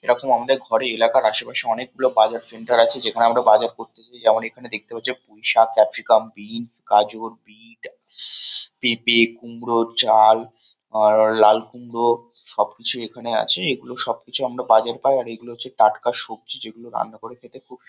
এরকম আমাদের ঘরে এলাকার আশেপাশে অনেকগুলো বাজার সেন্টার আছে। যেখানে আমরা বাজার করতে যাই। আমরা যেমন এখানে দেখতে পাচ্ছি পুঁইশাক ক্যাপসিকাম বিন্স গাজর বিট শশশ পেঁপে কুমড়ো চাল আর লাল কুমড়ো সবকিছুই এখানে আছে। এগুলো সবকিছুই আমরা বাজারে পাই। আর এগুলো হচ্ছে টাটকা সবজি। যেগুলো রান্না করে খেতে খুব সু--